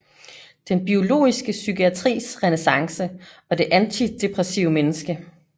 Den biologiske psykiatris renæssance og det antidepressive menneske